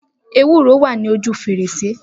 Ewúro wa ní ojú fèrèsé